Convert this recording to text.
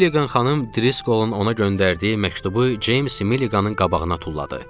Milligan xanım Driscolun ona göndərdiyi məktubu James Milliganın qabağına tulladı.